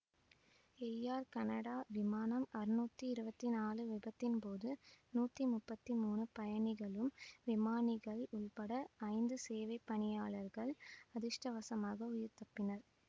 air Canada விமானம் அறுநூத்தி இருவத்தி நாலு விபத்தின்போது நூத்தி முப்பத்தி மூனு பயணிகளும் விமானிகள் உள்பட ஐந்து சேவைபணியாளர்கள் அதிர்ஷ்டவசமாக உயிர் தப்பினர்